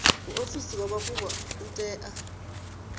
muofisi wa mafhungo u tea